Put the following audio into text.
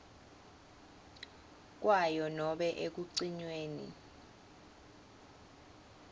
kwayo nobe ekucinyweni